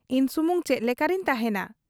ᱤᱧ ᱥᱩᱢᱩᱝ ᱪᱮᱫ ᱞᱮᱠᱟᱨᱮᱧ ᱛᱟᱦᱮᱸᱱᱟ ?